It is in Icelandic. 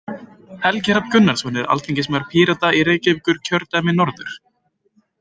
Helgi Hrafn Gunnarsson er alþingismaður Pírata í Reykjavíkurkjördæmi norður.